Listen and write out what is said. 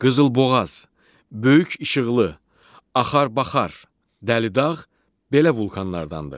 Qızılboğaz, Böyük İşıqlı, Axar-Baxar, Dəlidağ belə vulkanlardandır.